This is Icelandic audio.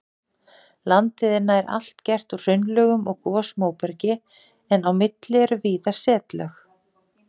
Landið er nær allt gert úr hraunlögum og gosmóbergi en á milli eru víða setlög.